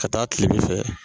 Ka taa kilebi fɛ.